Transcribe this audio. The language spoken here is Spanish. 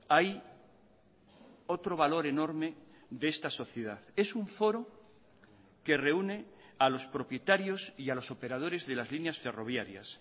hay otro valor enorme de esta sociedad es un foro que reúne a los propietarios y a los operadores de las líneas ferroviarias